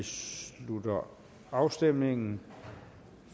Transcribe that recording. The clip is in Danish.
slutter afstemningen